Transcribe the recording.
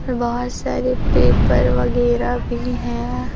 बहोत सारे पेपर वगैरा भी है।